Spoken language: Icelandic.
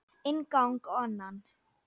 Inn gang og annan.